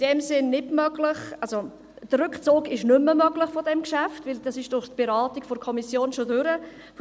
In diesem Sinn ist ein Rückzug dieses Geschäfts nicht mehr möglich, weil die Beratung der Kommission bereits vorüber ist.